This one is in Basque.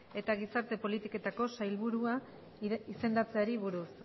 eta gizarte politiketako sailburu izendatzeari buruz